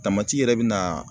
Tamati yɛrɛ bi na